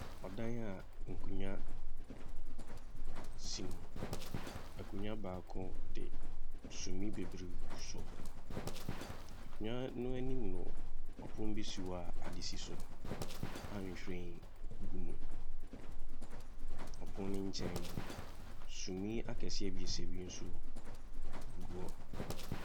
Ɔdan a nkonnwa si mu. Akonnwa baako de sumiiɛ bebree gugu so. Nkonnwa no anim no, ɔpon bi si hɔ ade si so a nhwiren gu mu. Ɔpon no nkyɛn no, sumiiɛ akɛseɛ ebiesa bi nso gu gugu hɔ.